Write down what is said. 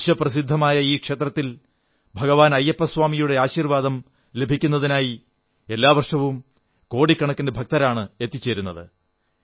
വിശ്വപ്രസിദ്ധമായ ഈ ക്ഷേത്രത്തിൽ ഭഗവാൻ അയ്യപ്പസ്വാമിയുടെ ആശീർവ്വാദം ലഭിക്കുന്നതിനായി എല്ലാ വർഷവും കോടിക്കണക്കിന് ഭക്തരാണ് എത്തിച്ചേരുന്നത്